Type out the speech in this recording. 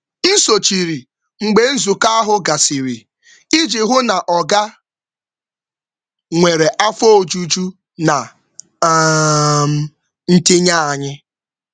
M sochiri mgbe nzukọ ahụ gasịrị iji hụ na oga nwere afọ ojuju na ntinye anyị. um